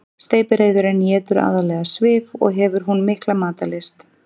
Steypireyðurin étur aðallega svif og hefur hún mikla matarlyst.